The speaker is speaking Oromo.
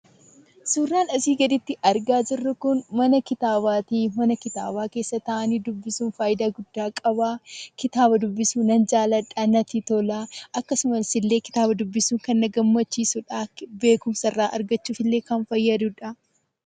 Suuraan asii gaditti argaa jirru kun mana kitaabaati. Mana kitaabaa keessa taa'anii dubbisuun fayidaa guddaa qaba. Kitaaba dubbisuu nan jaalladha natti tola. Akkasumas illee kitaaba dubbisuu kan na gammachiisudha, beekumsa irraa argachuuf illee kan fayyadudha.